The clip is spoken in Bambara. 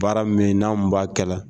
Baara minanw b'a kɛ la.